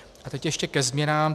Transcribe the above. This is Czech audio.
A teď ještě ke změnám.